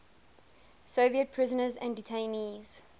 soviet prisoners and detainees